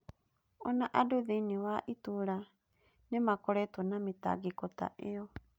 O na andũ thĩinĩ wa itũũra nĩ makoretwo na mĩtangĩko ta ĩyo.